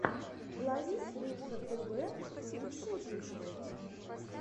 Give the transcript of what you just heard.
ловись рыбка тв лучший выпуск